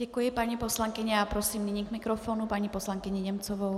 Děkuji, paní poslankyně, a prosím nyní k mikrofonu paní poslankyni Němcovou.